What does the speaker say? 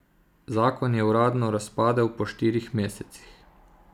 Zakon je uradno razpadel po štirih mesecih.